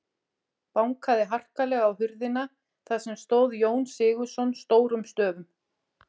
Bankaði harkalega á hurðina þar sem stóð Jón Sigurðsson stórum stöfum.